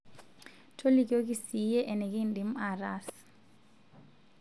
tolikioki siiyie enikindim aatas